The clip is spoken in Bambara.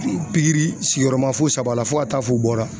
Pikiri sigiyɔrɔma fo saba la, fo ka taa fɔ u bɔ la.